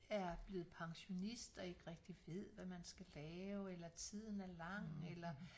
Er blevet pensionist og ikke rigtigt ved hvad man skal lave eller tiden er lang eller